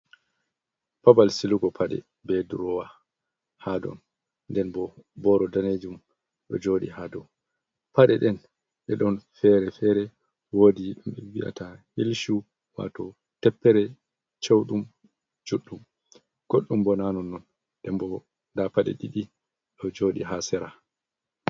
Babal silugo paɗe be drowa ha ɗon ndenbo boro danejum ɗo joɗi ha dow pade nɗen ɗe ɗon fere-fere woɗi ɗum vi'ata hil shu wato teppere ceuɗum juɗɗum godɗum bo nanon non ndenbo nda paɗe ɗiɗi ɗo joɗi ha sera.